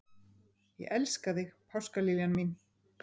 Ég elska þig, páskaliljan mín.